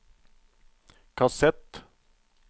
kassett